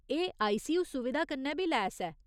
एह् आईसीयू सुविधा कन्नै बी लैस ऐ।